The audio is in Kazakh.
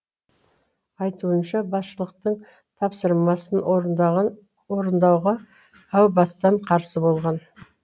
айтуынша басшылықтың тапсырмасын орындауға әу бастан қарсы болған